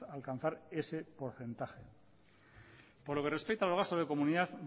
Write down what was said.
alcanzar ese porcentaje por lo que respecta al gasto de comunidad